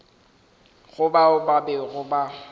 go bao ba bego ba